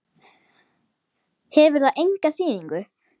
Hefur það enga þýðingu?